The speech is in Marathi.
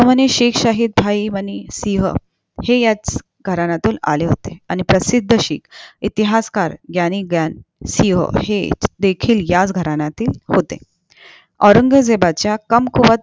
शिक शाहिदभाई मनीसिहं हे घराण्यातून आले होते आणि प्रसिद्ध शिक इतिहासकार ग्यानी ग्यानसींहा हे देखील ह्याच घराण्यातील होतेऔरंगजेबाच्या कमकुवत